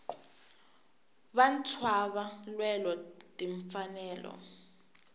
vantshwava lwela tinfanelo